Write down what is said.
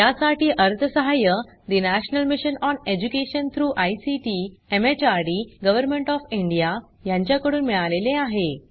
यासाठी अर्थसहाय्य national mission on education through ICT MHRD government O F India यांच्याकडून मिळालेले आहे